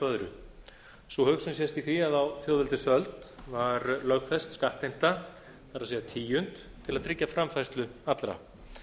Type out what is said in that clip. öðru sú hugsun sést í því að á þjóðveldisöld var lögfest skattheimta það er tíund til að tryggja framfærslu allra